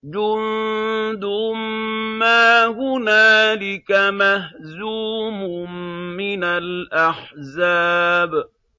جُندٌ مَّا هُنَالِكَ مَهْزُومٌ مِّنَ الْأَحْزَابِ